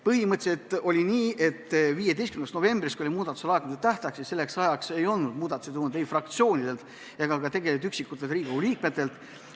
Põhimõtteliselt oli nii, et 15. novembriks, kui oli muudatusettepanekute laekumise tähtaeg, ei olnud muudatusettepanekuid tulnud ei fraktsioonidelt ega ka üksikutelt Riigikogu liikmetelt.